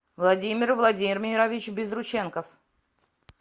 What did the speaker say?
владимир владимирович безрученков